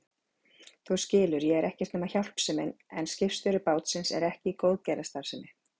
Þú skilur, ég er ekkert nema hjálpsemin en skipstjóri bátsins er ekki í góðgerðarstarfsemi.